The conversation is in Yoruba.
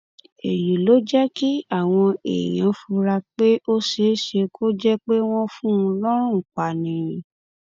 èyí ló jẹ kí àwọn èèyàn fura pé ó ṣeé ṣe kó jẹ pé wọn fún un lọrùn pa ni